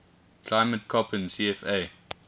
climate koppen cfa